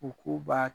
U k'u b'a